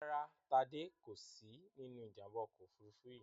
Rárá, Tádé kò sí nínú Ìjàm̀bá ọkọ̀ òfurufú yìí